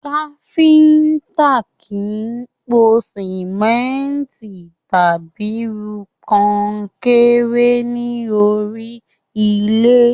Káfíntà kìí pò sánmọ́ntì tàbí rú kọnkéré ní orí ilẹ.